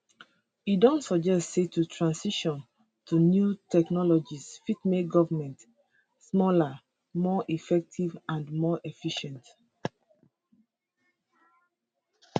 e don suggest say to transition to new technologies fit make govment smaller more effective and more efficient